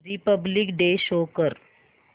Republic day show कर